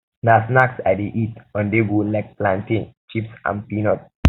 na snacks i dey eat onthego like plantain um chips and peanuts